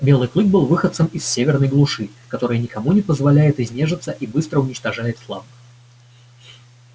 белый клык был выходцем из северной глуши которая никому не позволяет изнежиться и быстро уничтожает слабых